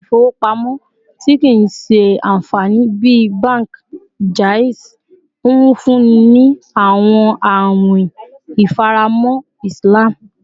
Ile-ifowopamọ ti kii ṣe anfani bi banki Jaiz nfunni ni awọn awin ifaramọ Islam